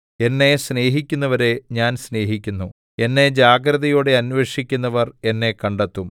എന്നെ സ്നേഹിക്കുന്നവരെ ഞാൻ സ്നേഹിക്കുന്നു എന്നെ ജാഗ്രതയോടെ അന്വേഷിക്കുന്നവർ എന്നെ കണ്ടെത്തും